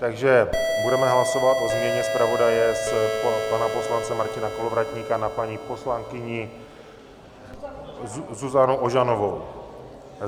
Takže budeme hlasovat o změně zpravodaje z pana poslance Martina Kolovratníka na paní poslankyni Zuzanu Ožanovou.